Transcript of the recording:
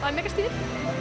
mikið stuð